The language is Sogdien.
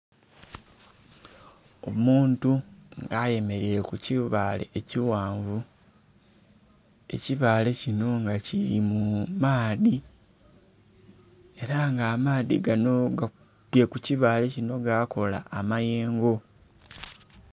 Omuntu nga ayemeleire ku kibaale ekighanvu ekibaale kino nga kiri mu maadhi era nga amaadhi gano akubye ku kibaale kino gakola amayengo.